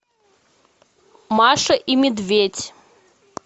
маша и медведь